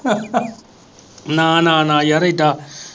ਨਾ ਨਾ ਨਾ ਯਾਰ ਏਦਾ।